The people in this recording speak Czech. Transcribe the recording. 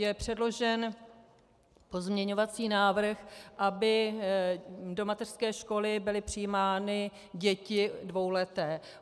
Je předložen pozměňovací návrh, aby do mateřské školy byly přijímány děti dvouleté.